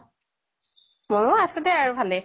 মোৰো আছো দে আৰু ভালে।